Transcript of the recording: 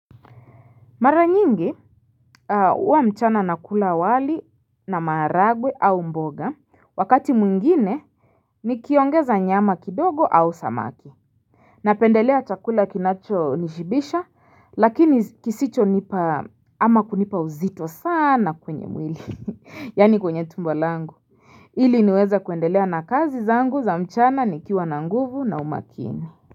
Mara nyingi hua mchana na kula wali na maragwe au mboga wakati mwingine ni kiongeza nyama kidogo au samaki Napendelea chakula kinacho nishibisha lakini kisicho nipa ama kunipa uzito sana kwenye mwili Yani kwenye tumbalangu Hili niweza kuendelea na kazi zangu za mchana ni kiwa na nguvu na umakini.